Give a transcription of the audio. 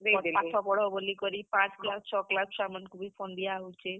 ପାଠ ପଢ ବଲିକରି ପାଂଚ୍ class ଛ class ଛୁଆ ମାନ୍ କୁ ବି phone ଦିଆ ହଉଛେ।